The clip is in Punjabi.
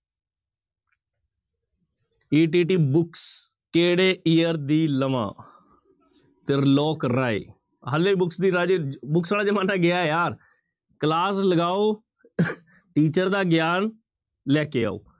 ETT books ਕਿਹੜੇ year ਦੀ ਲਵਾਂ ਤ੍ਰਿਲੋਕ ਰਾਏ ਹਾਲੇ books ਦੀ ਰਾਜੇ books ਵਾਲਾ ਜ਼ਮਾਨਾ ਗਿਆ ਯਾਰ class ਲਗਾਓ teacher ਦਾ ਗਿਆਨ ਲੈ ਕੇ ਆਓ।